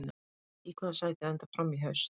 Í hvaða sæti endar Fram í haust?